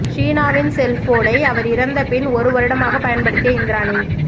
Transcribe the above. ஷீனாவின் செல்போனை அவர் இறந்த பின் ஒரு வருடமாக பயன்படுத்திய இந்திராணி